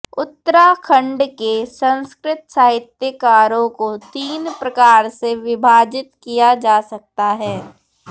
उत्तराखंड के संस्कृत साहित्यकारों को तीन प्रकार से विभाजित किया जा सकता है